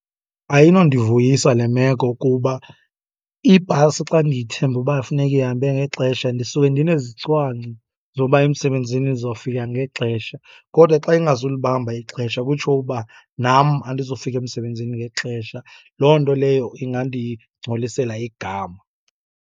Ayinondivuyisa le meko kuba ibhasi xa ndiyithembe uba funeke ihambe ngexesha, ndisuke ndinezicwangco zoba emsebenzini ndizofika ngexesha. Kodwa xa ingazulibamba ixesha, kutsho uba nam andizofika emsebenzini ngexesha. Loo nto leyo ingandingcolisela igama.